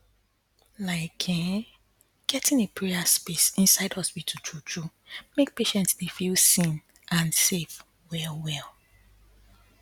like um getting a prayer space inside hospital true true make patients dy feel seen and safe well well